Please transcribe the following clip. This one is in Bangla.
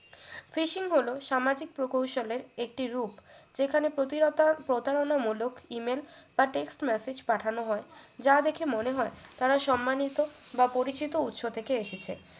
fishing হলো সামাজিক প্রকৌশলের একটি root যেখানে প্রতিরতা প্রতারণামূলক email বা text message পাঠানো হয় যা দেখে মনে হয় তারা সম্মানিত বা পরিচিত উৎস থেকে এসেছে